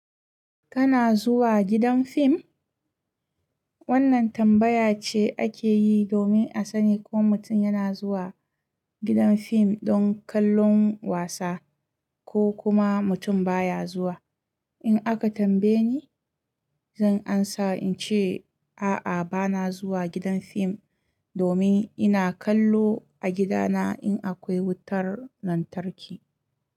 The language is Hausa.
Kana zuwa gidan fim? Wannan tambaya ce ake yi domin a sani ko mutum yana zuwa gidan fim don kallon wasa ko kuma mutum baya zuwa. In aka tambaye ni, zan amsa in ce, a'a bana zuwa gidan fim domin ina kallo a gidana in akwai wutar lantarki.